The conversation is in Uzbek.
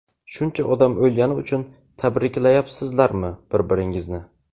shuncha odam o‘lgani uchun tabriklayapsizlarmi bir-biringizni?.